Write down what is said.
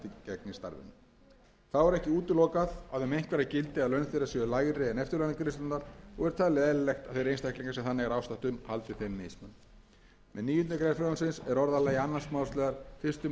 þó er ekki útilokað að um einhverja gildi að laun þeirra séu lægri en eftirlaunagreiðslurnar og er talið eðlilegt að þeir einstaklingar sem þannig er ástatt um haldi þeim mismun um níundu grein með níundu grein frumvarpsins er orðalagi annars málsl fyrstu málsgrein tuttugustu og aðra